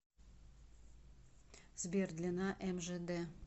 сбер длина мжд